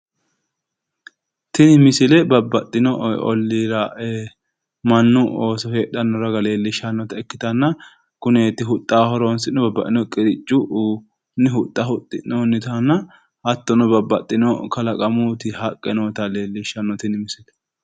Tini misile babbaxxino ollira mannu ooso heedhanno rage lellishannoha ikkanna kuneeti huxxaho horonsi'no babbaxxino huxxa huxxi'noonnita hattono babbaxxewo kalaquyiti haqqe noota leellishshawo tini misile